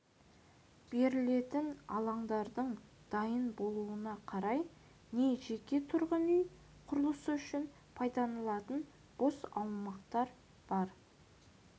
берілетін алаңдардың дайын болуына қарай не жеке тұрғын үй құрылысы үшін пайдаланылатын бос аумақтар бар